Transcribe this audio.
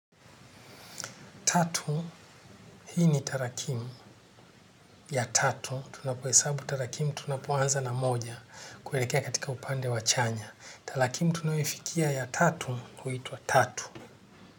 Tatu hii ni tarakimu ya tatu tunapoesabu tarakimu tunapoanza na moja kuwelekea katika upande wachanya. Tarakimu tunaoefikia ya tatu uhitua tatu.